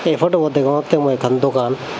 ey potobot degongottey mui ekkan dogan.